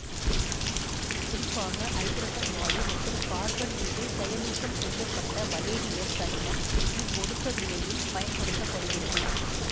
குறிப்பாக ஐதரசன் வாயு மற்றும் கார்பன் மீது செயலூக்கம் செய்ய பட்ட பலேடியம் தனிமம் இவ்வொடுக்க வினையில் பயன்படுத்த படுகிறது